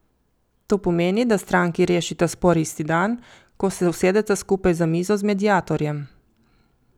To pomeni, da stranki rešita spor isti dan, kot se usedeta skupaj za mizo z mediatorjem.